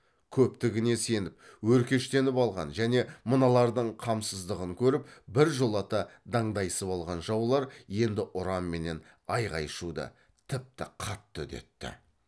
көптігіне сеніп өркештеніп алған және мыналардың қамсыздығын көріп біржолата дандайысып алған жаулар енді ұран менен айқай шуды тіпті қатты үдетті